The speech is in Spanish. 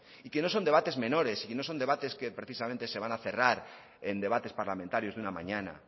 y que no son debates menores y no son debates que precisamente se van a cerrar en debates parlamentarios de una mañana